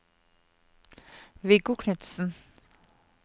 Viggo Knudsen